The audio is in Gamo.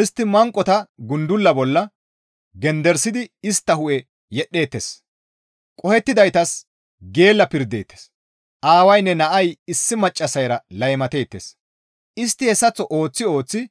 Istti manqota gudulla bolla genderisidi istta hu7e yedhetteettes; qohettidaytas geella pirdeettes; aawaynne nay issi maccassayra laymateettes; istti hessaththo ooththi ooththidi